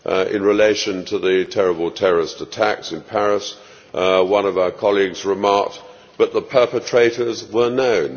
In relation to the terrible terrorist attacks in Paris, one of our colleagues remarked that the perpetrators were known.